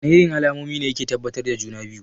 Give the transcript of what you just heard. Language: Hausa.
Wana irin alamomi ne yake tabbatar da juna-biyu?